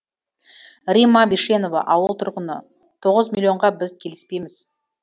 римма бишенова ауыл тұрғыны тоғыз миллионға біз келісіпейміз